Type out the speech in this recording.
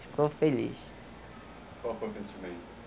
Ficou feliz. Qual foi o sentimento, assim?